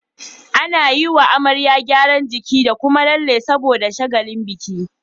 Ana yiwa amarya gyaran jiki da Kuma lalle saboda shagalin biki